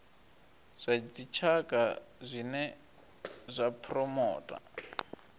zwa dzitshaka zwine zwa phuromotha